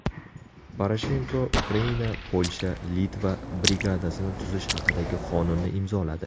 Poroshenko Ukraina-Polsha-Litva brigadasini tuzish haqidagi qonunni imzoladi.